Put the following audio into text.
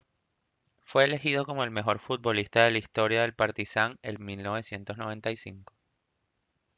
fue elegido como el mejor futbolista de la historia del partizan en 1995